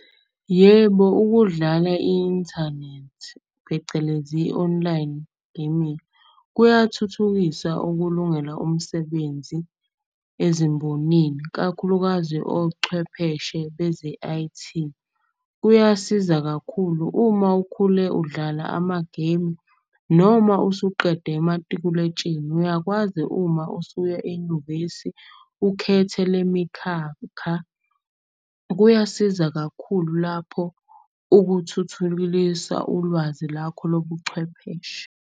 Yebo, ukudlala i-inthanethi phecelezi i-online gaming. Kuyathuthukisa ukulungela umsebenzi ezimbonini kakhulukazi ochwepheshe beze-I_T. Kuyasiza kakhulu uma ukhule udlala ama-game noma usuqede matikuletsheni. Uyakwazi uma usuya enyuvesi ukhethe le mikhakha. Kuyasiza kakhulu lapho ulwazi lakho lobuchwepheshe.